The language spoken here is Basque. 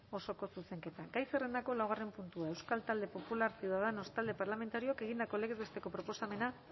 osoko zuzenketa gai zerrendako laugarren puntua euskal talde popularra ciudadanos talde parlamentarioak egindako legez besteko proposamena